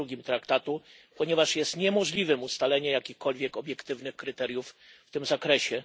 2 Traktatu, ponieważ niemożliwe jest ustalenie jakichkolwiek obiektywnych kryteriów w tym zakresie.